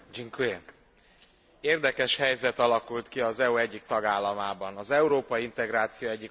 Érdekes helyzet alakult ki az EU egyik tagállamában, az európai integráció egyik alapító országában.